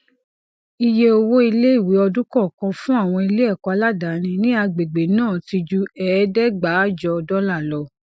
ìyẹ owó iléìwé ọdún kọọkan fún àwọn iléẹkọ aládàáni ní agbègbè náà ti ju ẹẹdẹgbàájọ dọlà lọ